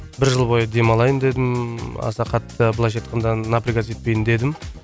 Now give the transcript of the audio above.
бір жыл бойы демалайын дедім аса қатты былайша айтқанда напрягаться етпейін дедім